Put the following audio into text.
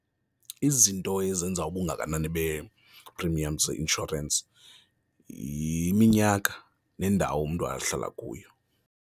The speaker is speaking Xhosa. Izinto ezenza ubungakanani zee-premiums zeinshorensi yiminyaka nendawo umntu ahlala kuyo.